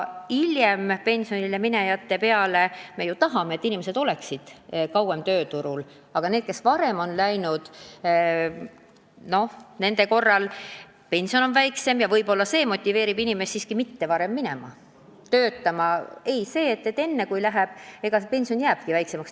Muidugi me tahame, et inimesed oleksid kauem tööturul, ja see, et enne õiget aega koju jäämise korral pension on väiksem, võib-olla motiveerib inimesi siiski mitte seda tegema.